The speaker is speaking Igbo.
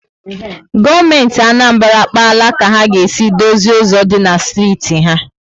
Gọọmenti Anambra akpaala ka ha ga esi dozi ụzọ dị na steeti ha